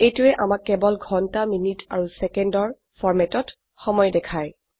এইটোৱে আমাক কেবল ঘন্টা মিনিট আৰু সেকেন্ডৰ হ্হ এমএম এছএছ ফৰম্যাটেত সময় দেখায়